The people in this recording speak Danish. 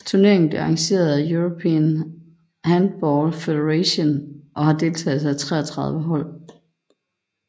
Turneringen blev arrangeret af European Handball Federation og havde deltagelse af 33 hold